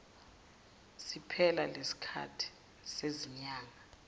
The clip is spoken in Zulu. siphela lesikhathi sezinyanga